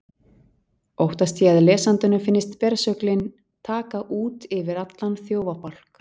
Óttast ég að lesandanum finnist bersöglin taka út yfir allan þjófabálk.